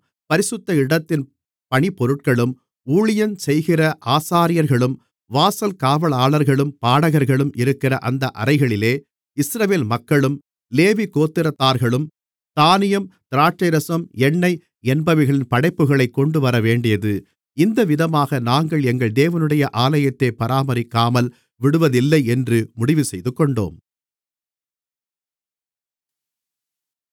பரிசுத்த இடத்தின் பணிபொருட்களும் ஊழியஞ்செய்கிற ஆசாரியர்களும் வாசல் காவலாளர்களும் பாடகர்களும் இருக்கிற அந்த அறைகளிலே இஸ்ரவேல் மக்களும் லேவிகோத்திரத்தார்களும் தானியம் திராட்சைரசம் எண்ணெய் என்பவைகளின் படைப்புகளைக் கொண்டுவரவேண்டியது இந்த விதமாக நாங்கள் எங்கள் தேவனுடைய ஆலயத்தைப் பராமரிக்காமல் விடுவதில்லையென்று முடிவுசெய்துகொண்டோம்